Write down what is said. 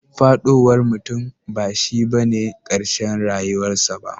Fadowar mutum bashi bane karshen rayuwar sa ba.